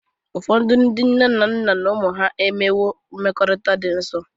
Ụfọdụ ndị nne na nna na ụmụ ha enwewo mmekọrịta dị nsọ.